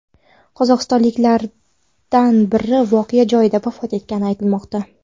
Qozog‘istonliklardan biri voqea joyida vafot etgani aytilmoqda.